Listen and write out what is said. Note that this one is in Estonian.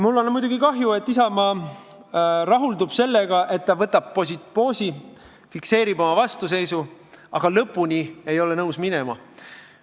Mul on muidugi kahju, et Isamaa rahuldub sellega, et ta võtab poosi, fikseerib oma vastuseisu, aga ei ole nõus lõpuni minema.